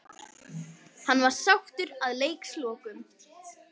Hann var sáttur að leikslokum.